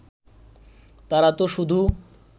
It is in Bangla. তারা তো শুধু